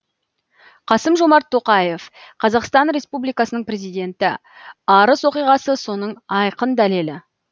қасым жомарт тоқаев қазақстан республикасының президенті арыс оқиғасы соның айқын дәлелі